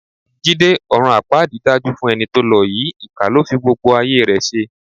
Jídé, ọ̀run àpáàdì dájú fún ẹni tó lọ yìí, ìkà ló fi gbogbo ayé rẹ ṣe.